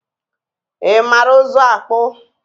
ị mara ụzụ akpụ?